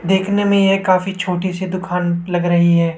देखने में ये काफी छोटी सी दुकान लग रही है।